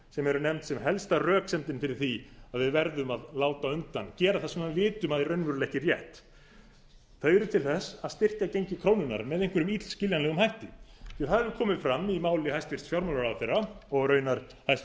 sem eru nefnd sem ein helsta röksemdin fyrir því að við verðum að láta undan gera það sem við vitum að er raunverulega ekki rétt þau eru til að styrkja gengi krónunnar með einhverjum illskiljanlegum hætti það er komið fram í máli hæstvirts fjármálaráðherra og raunar hæstvirtur